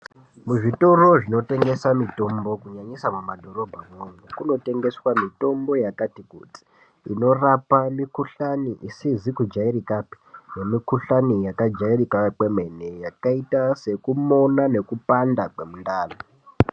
Muzvitoro zvinotengesa mitombo, kunyanyisa mumadhorobhamomo, kunotengeswa mitombo yakati kuti inorapa mukhuhlane isizi kujairikapi nemikhuhlane yakajairika kwemene, yakaita sekumona mekupanda kwemundani.